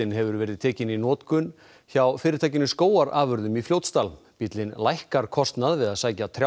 hefur verið tekinn í notkun hjá fyrirtækinu skógarafurðum í Fljótsdal bíllinn lækkar kostnað við að sækja